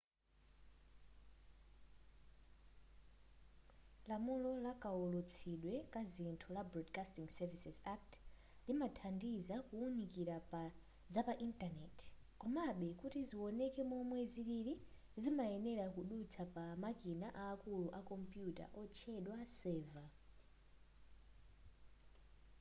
lamulo lakaulutsidwe kazinthu la broadcasting services act limathandiza kuwunikira zapa intaneti komabe kuti ziwoneke momwe zilili zimayenera kudutsa pamikina akulu a kompuyuta otchedwa server